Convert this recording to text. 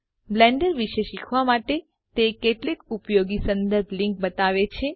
Blender વિશે શીખવા માટે તે કેટલીક ઉપયોગી સંદર્ભ લીન્ક બતાવે છે